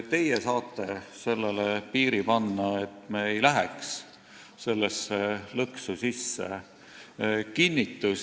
Teie saate piiri panna, et me ei läheks sellesse lõksu sisse.